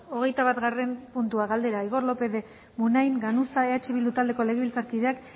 hogeita batgarren puntua galdera igor lópez de munain ganuza eh bildu taldeko legebiltzarkideak